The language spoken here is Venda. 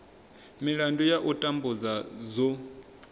milandu ya u tambudzwa dzo